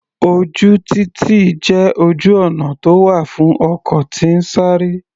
Ojú títì jẹ́ ojú ọ̀nà tó wà fún ọkọ̀ tí ń sáré.